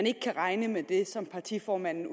ikke kan regne med det som partiformanden